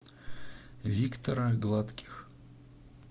виктора гладких